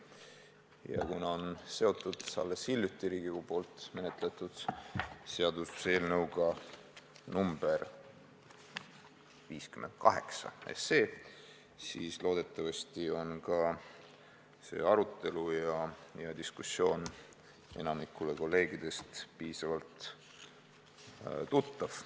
Ja kuna on seotud alles hiljuti Riigikogus menetletud seaduseelnõuga number 58, siis loodetavasti on see arutelu ja diskussioon enamikule kolleegidest piisavalt tuttav.